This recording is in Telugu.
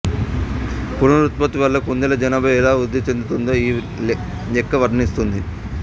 పునరుత్పత్తి వల్ల కుందేళ్ల జనాభా ఎలా వృద్ధి చెందుతుందో ఈ లెక్క వర్ణిస్తుంది